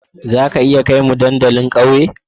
Za ka iya kai mu dandalin ƙauye?